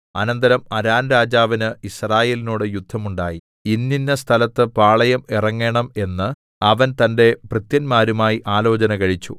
അനന്തരം അരാംരാജാവിന് യിസ്രായേലിനോട് യുദ്ധം ഉണ്ടായി ഇന്നിന്ന സ്ഥലത്ത് പാളയം ഇറങ്ങണം എന്ന് അവൻ തന്റെ ഭൃത്യന്മാരുമായി ആലോചന കഴിച്ചു